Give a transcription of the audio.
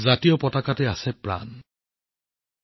আমাৰ জীৱন ৰক্ষা হৈছে আমাৰ ত্ৰিৰংগা